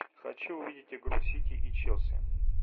хочу увидеть игру сити и челси